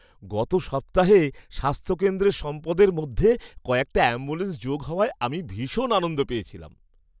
গত সপ্তাহে স্বাস্থ্যকেন্দ্রের সম্পদের মধ্যে কয়েকটা অ্যাম্বুলেন্স যোগ হওয়ায় আমি ভীষণ আনন্দ পেয়েছিলাম।